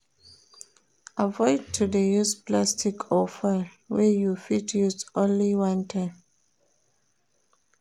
Avoid to de use plastic or foil wey you fit use only one time